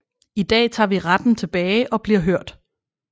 I dag tager vi retten tilbage og bliver hørt